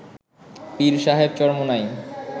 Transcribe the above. পীর সাহেব চরমোনাই